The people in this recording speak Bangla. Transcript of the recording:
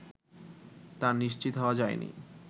তা নিশ্চিত হওয়া যায়নি